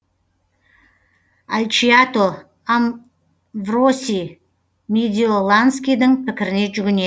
альчиато амвро сий медиоланскийдің пікіріне жүгіне